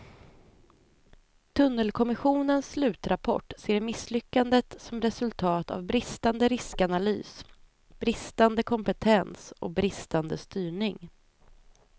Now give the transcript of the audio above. Tunnelkommissionens slutrapport ser misslyckandet som resultat av bristande riskanalys, bristande kompetens och bristande styrning.